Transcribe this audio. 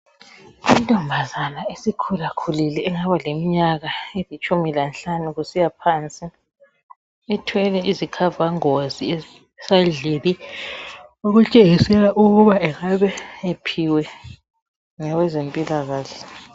Intombazana esikhulakhulile engaba leminyaka elitshumi lanhlanu kusiya phansi ithwele izikhava ngozi ezisendlini okutshengisela ukuba angabe ephiwe ngabezempilakahle.